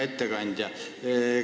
Hea ettekandja!